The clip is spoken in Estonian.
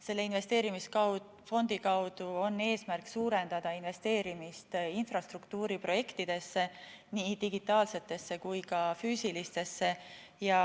Selle investeerimisfondi kaudu on eesmärk suurendada investeerimist infrastruktuuriprojektidesse, nii digitaalsetesse kui ka füüsilistesse.